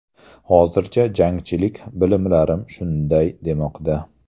Hozircha, jangchilik bilimlarim shunday demoqda”.